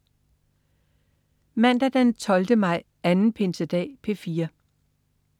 Mandag den 12. maj. Anden pinsedag - P4: